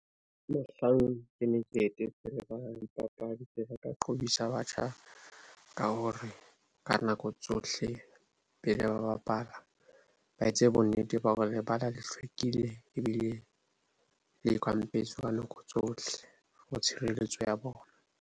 Mohlang ke ne ke etetse lebala la dipapadi ke ile ka batjha ka hore ka nako tsohle, pele ba bapala ba etse bonnete ba hore lebala le hlwekile. Ebile le kampetswe ka nako tsohle for tshireletso ya bona.